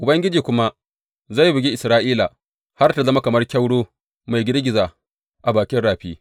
Ubangiji kuma zai bugi Isra’ila, har tă zama kamar kyauro mai girgiza a bakin rafi.